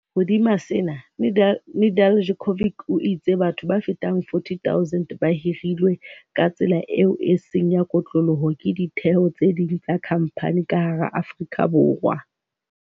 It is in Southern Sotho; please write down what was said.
Hodima sena, Nedeljkovic o itse batho ba fetang 40 000 ba hirilwe ka tsela eo e seng ya kotloloho ke ditheo tse ding tsa khamphani ka hara Afrika Borwa.